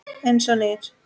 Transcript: Eins og nýr.